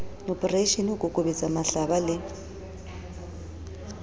oporeishene ho kokobetsa mahlaba le